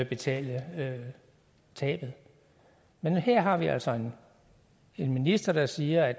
betale tabet men her har vi altså en minister der siger at